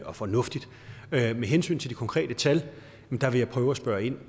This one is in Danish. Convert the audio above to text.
og fornuftigt med hensyn til de konkrete tal vil jeg prøve at spørge ind